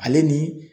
Ale ni